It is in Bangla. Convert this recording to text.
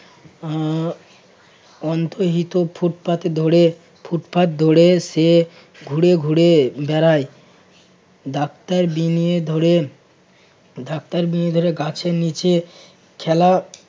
উম অন্তহিত ফুটপাতে ধরে~ ফুটপাত ধরে সে ঘুরে ঘুরে বেড়ায় ডাক্তার বিনিয়ে ধরে~ ডাক্তার বিনিয়ে ধরে গাছের নিচে খেলা